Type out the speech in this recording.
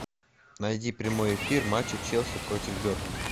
найди прямой эфир матча челси против бернли